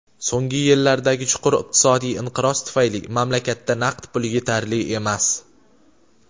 So‘nggi yillardagi chuqur iqtisodiy inqiroz tufayli mamlakatda naqd pul yetarli emas.